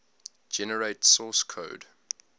generate source code